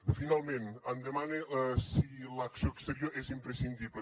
finalment em demana si l’acció exterior és imprescindible